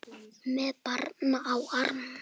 Með barn á armi?